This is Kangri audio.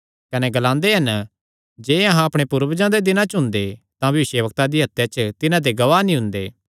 कने ग्लांदे हन जे अहां अपणे पूर्वजां दे दिनां च हुंदे तां भविष्यवक्तां दी हत्या च तिन्हां दे गवाह नीं हुंदे